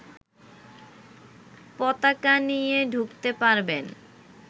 পতাকা নিয়ে ঢুকতে পারবেন